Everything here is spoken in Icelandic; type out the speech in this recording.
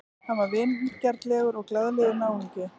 Hann var vingjarnlegur og glaðlegur náungi.